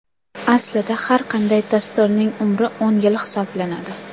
Aslida har qanday dasturning umri o‘n yil hisoblanadi.